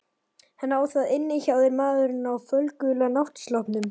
Hann á það inni hjá þér maðurinn á fölgula náttsloppnum.